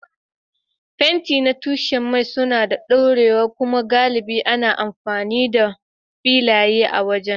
Fenti na tushen mai suna da ɗorewa kuma galibi ana amfani da filaye na waje.